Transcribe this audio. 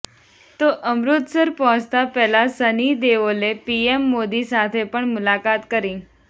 તો અમૃતસર પહોંચતા પહેલા સની દેઓલે પીએમ મોદી સાથે પણ મુલાકાત કરી